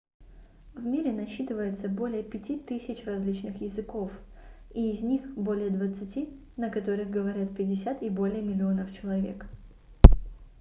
в мире насчитывается более 5000 различных языков и из них более двадцати на которых говорят 50 и более миллионов человек